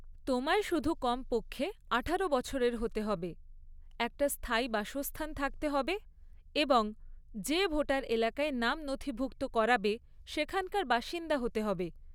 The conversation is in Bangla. তোমায় শুধু কমপক্ষে আঠারো বছরের হতে হবে, একটা স্থায়ী বাসস্থান থাকতে হবে, এবং যে ভোটার এলাকায় নাম নথিভুক্ত করাবে সেখানকার বাসিন্দা হতে হবে।